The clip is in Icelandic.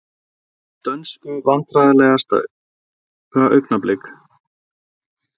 Dönsku Vandræðalegasta augnablik?